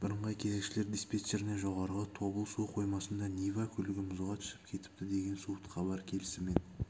бірыңғай кезекшілер диспетчеріне жоғарғы тобыл су қоймасында нива көлігі мұзға түсіп кетіпті деген суыт хабар келісімен